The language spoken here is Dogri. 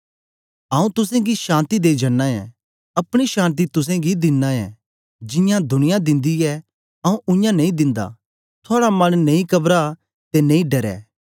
आऊँ तुसेंगी शान्ति देई जना ऐं अपनी शान्ति तुसेंगी दिना ऐं जियां दुनिया दिंदी ऐ आऊँ उयां नेई दिंदा थुआड़ा मन नेई कबरां ते नेई डरे